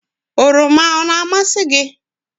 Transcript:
oroma o na-amasị gị?